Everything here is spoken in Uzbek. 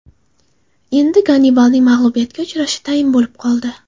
Endi Gannibalning mag‘lubiyatga uchrashi tayin bo‘lib qoldi.